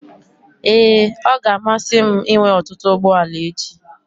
Ee, ọ ga-amasị m inwe ọtụtụ ụgbọ ala echi.